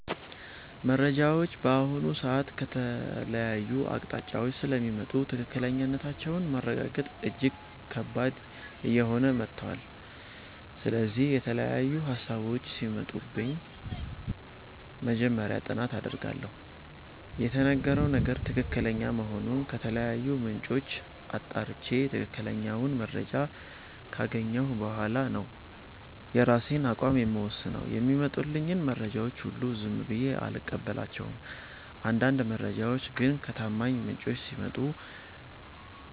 መረጃዎች በአሁኑ ሰዓት ከተለያዩ አቅጣጫዎች ስለሚመጡ ትክክለኛነታቸውን ማረጋገጥ እጅግ ከባድ እየሆነ መጥቷል። ስለዚህ፣ የተለያዩ ሃሳቦች ሲመጡብኝ መጀመሪያ ጥናት አደርጋለሁ። የተነገረው ነገር ትክክለኛ መሆኑን ከተለያዩ ምንጮች አጣርቼ፣ ትክክለኛውን መረጃ ካገኘሁ በኋላ ነው የራሴን አቋም የምወስነው። የሚመጡልኝን መረጃዎች ሁሉ ዝም ብዬ አልቀበላቸውም። አንዳንድ መረጃዎች ግን ከታማኝ ምንጮች ሲመጡ